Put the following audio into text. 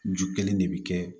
Ju kelen de bɛ kɛ